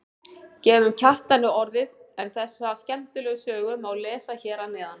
Gefum Kjartani orðið en þessa skemmtilegu sögu má lesa hér að neðan.